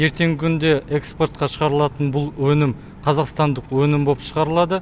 ертеңгі күнде экспортқа шығарылатын бұл өнім қазақстандық өнім болып шығарылады